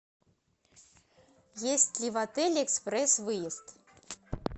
есть ли в отеле экспресс выезд